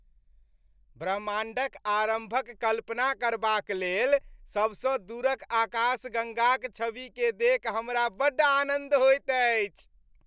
ब्रह्माण्डक आरम्भक कल्पना करबाक लेल सबसँ दूरक आकाशगङ्गाक छविकेँ देखि हमरा बड्ड आनन्द होइत अछि।